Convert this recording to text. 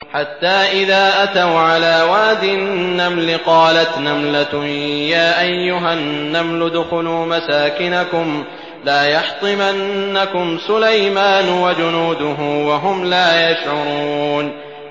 حَتَّىٰ إِذَا أَتَوْا عَلَىٰ وَادِ النَّمْلِ قَالَتْ نَمْلَةٌ يَا أَيُّهَا النَّمْلُ ادْخُلُوا مَسَاكِنَكُمْ لَا يَحْطِمَنَّكُمْ سُلَيْمَانُ وَجُنُودُهُ وَهُمْ لَا يَشْعُرُونَ